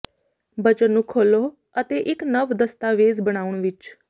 ਬਚਨ ਨੂੰ ਖੋਲ੍ਹੋ ਅਤੇ ਇੱਕ ਨਵ ਦਸਤਾਵੇਜ਼ ਬਣਾਉਣ ਵਿੱਚ